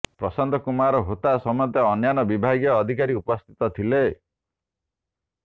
ପ୍ରଶାନ୍ତ କୁମାର ହୋତା ସମେତ ଅନ୍ୟାନ୍ୟ ବିଭାଗୀୟ ଅଧିକାରୀ ଉପସ୍ଥିତ ଥିଲେ